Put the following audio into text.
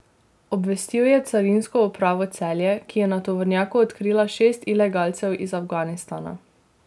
Obvestil je Carinsko upravo Celje, ki je na tovornjaku odkrila šest ilegalcev iz Afganistana.